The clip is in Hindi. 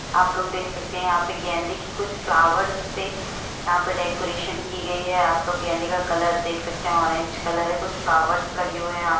आपलोग देख सकते हैं यहां पर गेंदे के कुछ फ्लावर्स से यहाँ पर डेकोरेशन की गई है। आपलोग गेंदे का कलर देख सकते हैं ऑरेंज कलर है। कुछ फ्लावर्स लगे हुए हैं यहां।